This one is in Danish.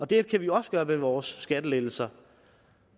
det kan vi også gøre med vores skattelettelser